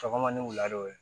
Sɔgɔma ni wula de